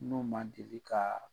N'u man deli kaa